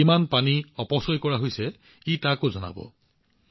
ইয়াৰ পৰা এইটোও নিশ্চিত কৰা হব যে কত আৰু কিমান পানী অপচয় কৰা হৈছে